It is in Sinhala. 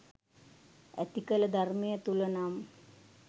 ඇතිකල ධර්මය තුළ නම්